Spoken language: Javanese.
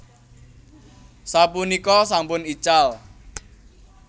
Sapunika sampun ical